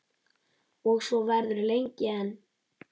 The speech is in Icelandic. Og svo verður lengi enn.